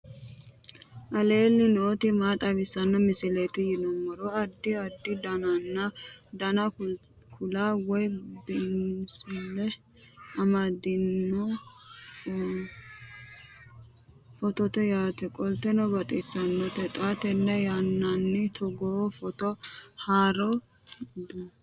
aleenni nooti maa xawisanno misileeti yinummoro addi addi dananna kuula woy biinsille amaddino footooti yaate qoltenno baxissannote xa tenne yannanni togoo footo haara danvchate